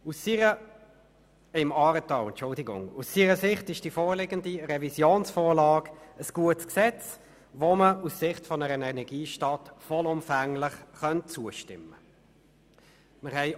Aus seiner Sicht ist die vorliegende Revisionsvorlage ein gutes Gesetz, dem man aus Sicht einer Energiestadt vollumfänglich zustimmen kann.